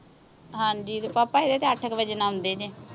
ਹਾਂਜੀ ਪਾਪਾ ਹਜੇ ਤੇ ਅੱਠ ਕੇ ਵਜੇ ਆਉਂਦੇ ਜੇ